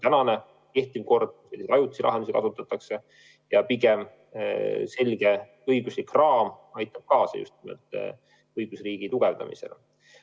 Täna kehtib kord, kus pigem kasutatakse ajutisi lahendusi, ja selge õiguslik raam aitab kaasa just nimelt õigusriigi tugevdamisele.